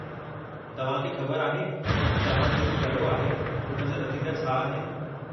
तवहां खे ख़बर आहे त तव्हां जेको कयो आहे उन जा नतीजा छा आहिनि?